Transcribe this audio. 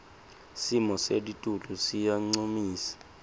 simo selitulu siyancumisa